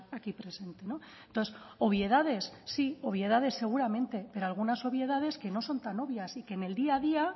aquí presente entonces obviedades sí obviedades seguramente pero algunas obviedades que no son tan obvias y que en el día a día